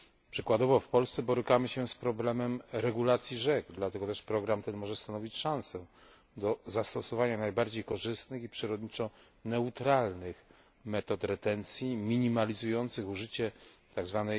Przykładowo w Polsce borykamy się z problemem regulacji rzek, dlatego też program ten może stanowić szansę do zastosowania najbardziej korzystnych i przyrodniczo neutralnych metod retencji, minimalizujących użycie tzw.